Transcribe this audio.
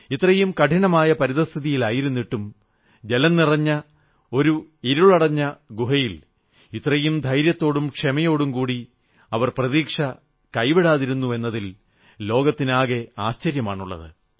ഇത്രയും കഠിനമായ പരിതഃസ്ഥിതിയിലായിട്ടും ജലം നിറഞ്ഞ ഒരു ഇരുളടഞ്ഞ ഗുഹയിൽ ഇത്രയും ധൈര്യത്തോടും ക്ഷമയോടും കൂടി അവർ പ്രതീക്ഷ കൈവിടാതിരുന്നുവെന്നതിൽ ലോകത്തിനാകെ ആശ്ചര്യമാണുള്ളത്